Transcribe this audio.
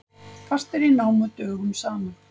Fastir í námu dögum saman